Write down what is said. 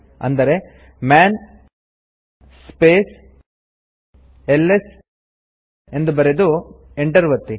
ಅಂದರೆ man space LS ಬರೆದು enter ಒತ್ತಿ